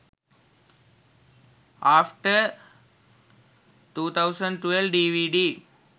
after 2012 dvd